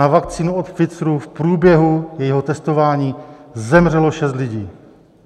Na vakcínu od Pfizeru v průběhu jejího testování zemřelo šest lidí.